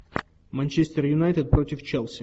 манчестер юнайтед против челси